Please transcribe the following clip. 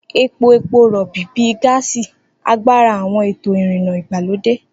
Epo epo rọ̀bì, bíi gáàsì, agbára àwọn ètò ìrìnnà ìgbàlódé.